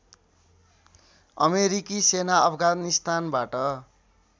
अमेरिकी सेना अफगानिस्तानबाट